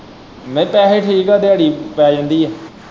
ਨਈ ਪੈਹੇ ਠੀਕ ਆ ਦਿਹਾੜੀ ਪੈ ਜਾਂਦੀ ਆ।